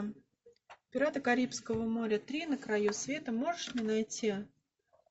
пираты карибского моря три на краю света можешь мне найти